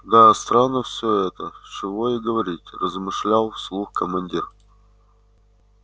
да странно всё это чего и говорить размышлял вслух командир